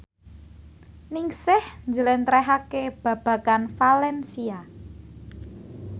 Ningsih njlentrehake babagan valencia